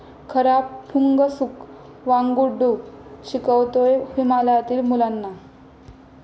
खरा 'फुंगसुक वांगडु' शिकवतोय हिमालयातील मुलांना!